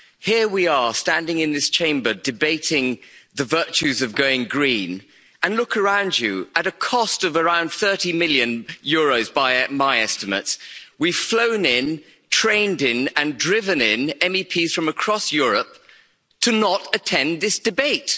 Here we are standing in this Chamber debating the virtues of going green and look around you at a cost of around EUR 30 million by my estimates, we've flown in, trained in and driven in MEPs from across Europe to not attend this debate.